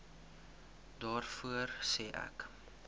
daarvoor sê ek